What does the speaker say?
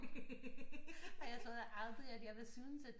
Og jeg troede aldrig at jeg ville synes at